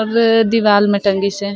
और दीवाल मे टांगिस हे ।--